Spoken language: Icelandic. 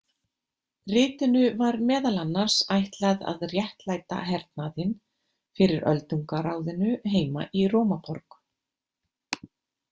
Ritinu var meðal annars ætlað að réttlæta hernaðinn fyrir Öldungaráðinu heima í Rómaborg.